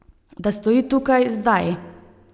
Da stoji tukaj, zdaj.